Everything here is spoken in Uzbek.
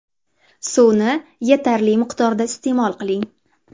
Suvni yetarli miqdorda iste’mol qiling.